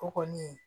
O kɔni